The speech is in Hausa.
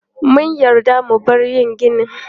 Mun yarda mu bar yin ginin.